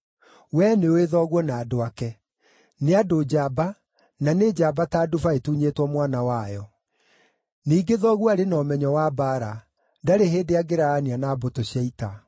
Wee nĩũũĩ thoguo na andũ ake; nĩ andũ njamba, na nĩ njamba ta nduba ĩtunyĩtwo mwana wayo. Ningĩ thoguo arĩ na ũmenyo wa mbaara; ndarĩ hĩndĩ angĩraarania na mbũtũ cia ita.